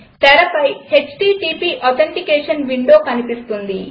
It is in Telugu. తెరపై హీటీటీపీ ఆథెంటికేషన్ విండో కనిపిస్తుంది